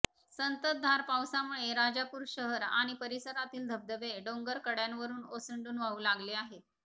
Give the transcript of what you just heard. संततधार पावसामुळे राजापूर शहर आणि परिसरातील धबधबे डोंगर कडय़ांवरून ओसंडून वाहू लागले आहेत